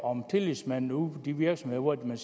om tillidsmanden ude på de virksomheder hvor man